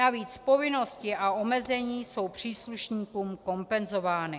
Navíc povinnosti a omezení jsou příslušníkům kompenzovány.